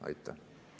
Aitäh!